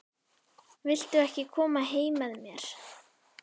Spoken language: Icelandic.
Viltu ekki koma heim með mér?